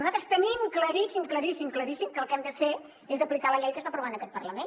nosaltres tenim claríssim claríssim claríssim que el que hem de fer és aplicar la llei que es va aprovar en aquest parlament